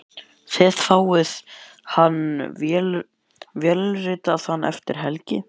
Þið fáið hann vélritaðan eftir helgi.